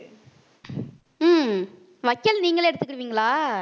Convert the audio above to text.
உம் வைக்கோல் நீங்களே எடுத்துக்கிருவீங்களா